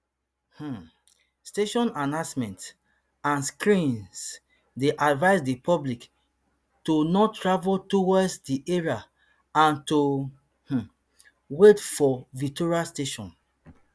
um station announcements and screens dey advise di public to not travel towards di area and to um wait for victoria station